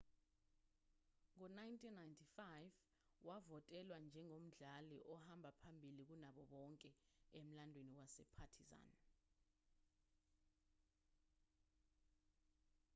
ngo-1995 wavotelwa njengomdlali ohamba phambili kunabo bonke emlandweni wasepartizan